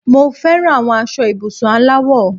Mo feran aṣọ ibùsùn aláwọ̀